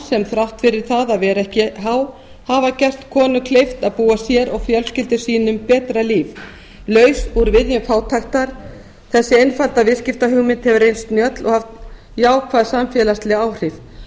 sem þrátt fyrir það að vera ekki há hafa gert konum kleift að búa sér og fjölskyldum sínum betra líf laus úr viðjum fátæktar þessi einfalda viðskiptahugmynd hefur reynst snjöll og jákvæð samfélagsleg áhrif